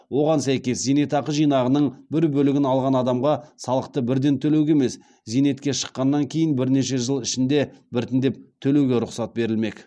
оған сәйкес зейнетақы жинағының бір бөлігін алған адамға салықты бірден төлеуге емес зейнетке шыққаннан кейін бірнеше жыл ішінде біртіндеп төлеуге рұқсат берілмек